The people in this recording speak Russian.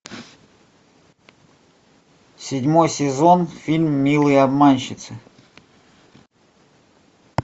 седьмой сезон фильм милые обманщицы